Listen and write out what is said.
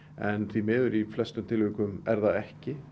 en því miður í flestum tilvikum er það ekki